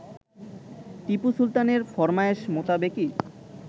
টিপু সুলতানের ফরমায়েশ মোতাবেকই